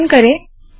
संकलन करे